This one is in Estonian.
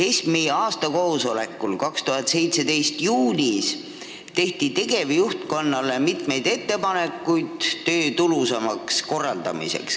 ESM-i aastakoosolekul juulis 2017 tehti tegevjuhtkonnale mitu ettepanekut, kuidas tööd tulusamalt korraldada.